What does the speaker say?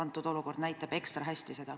Kõnealune olukord näitab seda ekstra hästi.